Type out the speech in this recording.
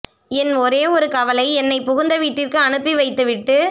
என் ஒரே ஒரு கவலை என்னை புகுந்த வீட்டிற்கு அனுப்பி வைத்து விட்டு